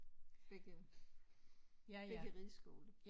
Begge begge rideskoler